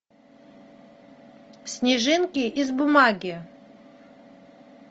снежинки из бумаги